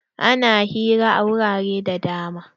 Ana hira a wurare da dama.